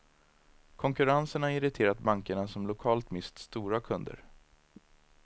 Konkurrensen har irriterat bankerna som lokalt mist stora kunder.